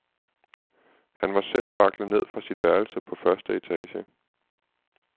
Han var selv vaklet ned fra sit værelse på første etage.